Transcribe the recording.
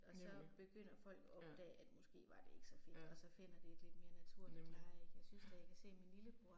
Nemlig, ja, ja, nemlig, ja